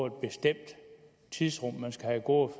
et bestemt tidsrum man skal have gået